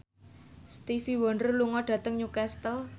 Stevie Wonder lunga dhateng Newcastle